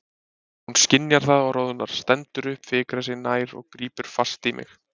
Hún skynjar það og roðnar, stendur upp, fikrar sig nær og grípur fast í mig.